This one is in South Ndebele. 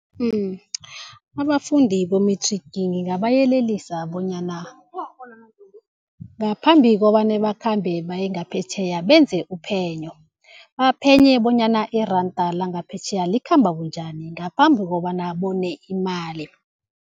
Abafundi bo-matric ngingabayelelisa bonyana ngaphambi kobana bakhambe bayengaphetjheya benze uphenyo. Baphenye bonyana iranda langaphetjheya likhamba bunjani ngaphambi kobana bone imali.